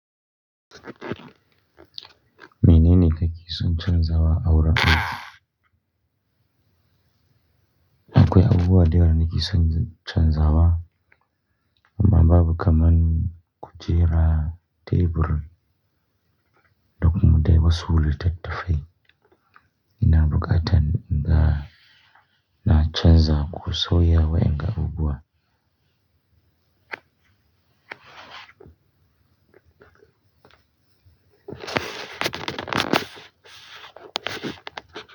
Menene kake son canzawa awurin aiki? Akwai abubuwa da yawa nikeson canzawa. Amma babu kaman kujera, tebur da kuma dai wasu littattafai. Ina buƙatan inga na canza ko sauya wa inga abubuwan.